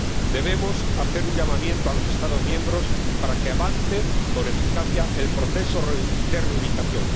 Debemos hacer un llamamiento a los Estados miembros para que avance con eficacia el proceso de reubicación.